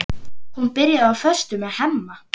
Hún byrjaði á föstu með Hemma.